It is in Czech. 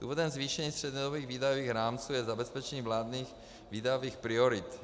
Důvodem zvýšení střednědobých výdajových rámců je zabezpečení vládních výdajových priorit.